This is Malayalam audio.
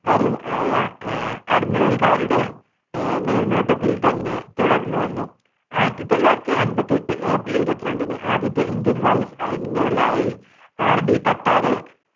രും ആയ ആഹ് admiral ക്കാരുടെ അഹ് മേൽനോട്ടത്തിൽ തന്നെ തുടർന്ന് വന്നു. ആയിരത്തി തൊള്ളായിരത്തി അൻപത്തെട്ട് april ഇരുപത്തി രണ്ടിന് ആദ്യത്തെ indian vice admiral ലായി RD കട്ടാരെ